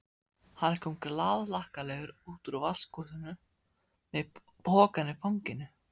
Hann kom glaðhlakkalegur út úr vaskahúsinu með pokann í fanginu.